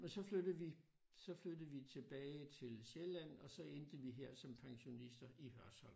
Men så flyttede vi så flyttede vi tilbage til Sjælland og så endte vi her som pensionister i Hørsholm